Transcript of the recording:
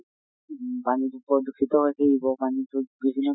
উম পানী টো বৰ দূষিত হৈছে যখিনি